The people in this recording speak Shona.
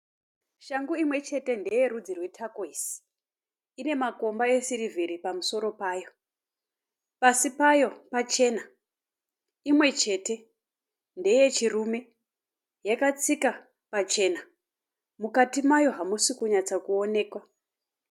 Shangu imwe chete ndeyerudzu rwetakoisi. Ine makomba esirivheri pamusoro payo. Pasi payo pachena. Imwe chete. Ndeyechirume. Yakatsika pachena. Mukati mayo hamusi kunyatsakuoneka.